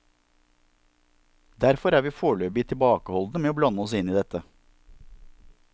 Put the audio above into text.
Derfor er vi foreløpig tilbakeholdne med å blande oss inn i dette.